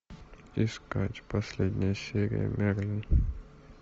искать последняя серия мерлин